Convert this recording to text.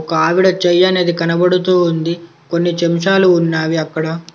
ఒక ఆవిడ చెయ్యి అనేది కనబడుతూ ఉంది. కొన్ని చెంచాలు ఉన్నావి అక్కడ.